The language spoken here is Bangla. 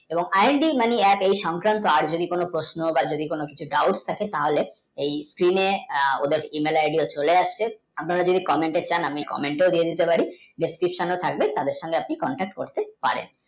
এবং i and d mani apps এই সংকান্ত আইজনী কোনো পশ্ন যদি কোনো dauat থাকে তাহলে এই pin এ ওদের gmail id ও চলে আসছে আপনারা যদি komant তে চান আমি komeant তে দিতে পারি description নে থাকবে তাঁদের সঙ্গে যোগা যোগ করতে পারেন